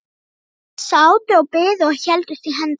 Þau sátu og biðu og héldust í hendur.